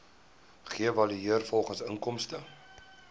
geëvalueer volgens inkomste